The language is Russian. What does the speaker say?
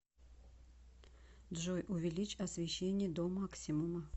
джой увеличь освещение до максимума